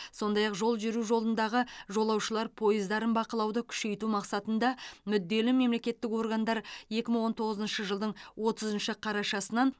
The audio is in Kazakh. сондай ақ жол жүру жолындағы жолаушылар пойыздарын бақылауды күшейту мақсатында мүдделі мемлекеттік органдар екі мың он тоғызыншы жылдың отызыншы қарашасынан